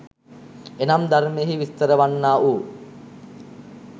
එනම් ධර්මයෙහි විස්තර වන්නා වූ